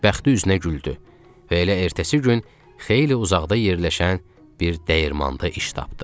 Bəxti üzünə güldü və elə ertəsi gün xeyli uzaqda yerləşən bir dəyirmanda iş tapdı.